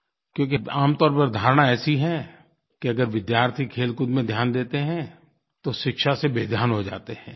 क्योंकि आम तौर पर धारणा ऐसी है कि अगर विद्यार्थी खेलकूद में ध्यान देते हैं तो शिक्षा से बेध्यान हो जाते हैं